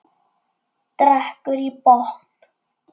Drekkur í botn.